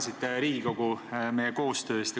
Te tänasite Riigikogu koostöö eest.